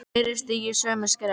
Fleiri stígi sömu skref?